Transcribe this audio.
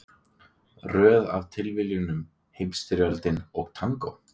Röð af tilviljunum, Heimsstyrjöldin og tangó.